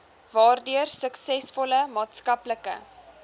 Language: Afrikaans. waardeur suksesvolle maatskaplike